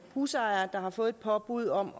husejere der har fået et påbud om